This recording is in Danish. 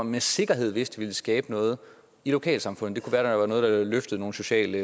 med sikkerhed vidste ville skabe noget i lokalsamfundet være noget der løftede nogle sociale